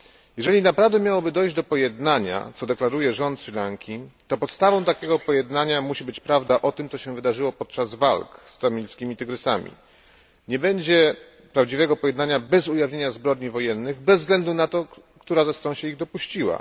Jeżeli naprawdę miałoby dojść do pojednania, co deklaruje rząd Sri Lanki, to podstawą takiego pojednania musi być prawda o tym, co się wydarzyło podczas walk z Tamilskimi Tygrysami. Nie będzie prawdziwego pojednania bez ujawnienia zbrodni wojennych, bez względu na to, która ze stron się ich dopuściła.